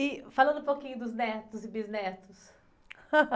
E falando um pouquinho dos netos e bisnetos.